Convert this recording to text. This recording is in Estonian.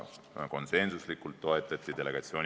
Delegatsiooni moodustamist toetati konsensuslikult.